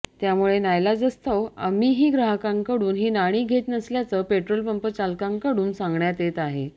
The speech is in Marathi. त्यामुळे नाईलाजास्तव आम्हीही ग्राहकांकडून ही नाणी घेत नसल्याचं पेट्रोलपंप चालकांकडून सांगण्यात येत आहे